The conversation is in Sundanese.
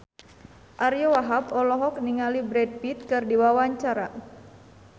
Ariyo Wahab olohok ningali Brad Pitt keur diwawancara